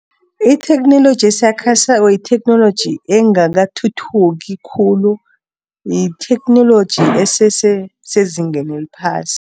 Itheknoloji esakhasako, yitheknoloji engakathuthuki khulu. Yitheknoloji esese sezingeni eliphasi.